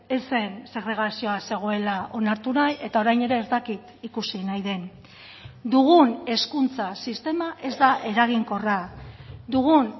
ez zen segregazioa zegoela onartu nahi eta orain ere ez dakit ikusi nahi den dugun hezkuntza sistema ez da eraginkorra dugun